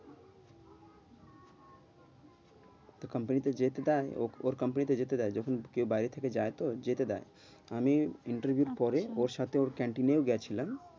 তোর company তে যেতে দেয়। ওর company তে যেতে দেয় যখন কেউ থেকে যায় তো, যেতে দেয় আমি interview এর পরে ওর সাথে ওর ক্যান্টিনে গেছিলাম।